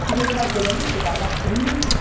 sur le plan économique, c'est un marché unique